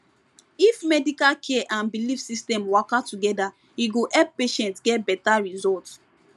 if medical care and belief system waka together e go help patients get better result